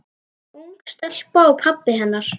Ung stelpa og pabbi hennar.